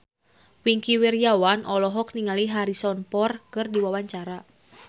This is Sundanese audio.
Wingky Wiryawan olohok ningali Harrison Ford keur diwawancara